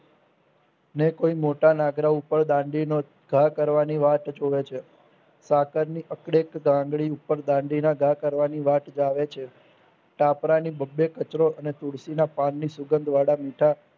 ને કોઈ મોટા નાગડા ઉપર દાંડીનો ઘા કવાની વાટ જોવે છે કાતરની અપડેક ગામડી ઉપર બાંધી ને ઘા કરવાની વાત છે. ટોપરાની બબે કચરો અને તુલસીના પાનની સુગન્ધ વાડા મીઠા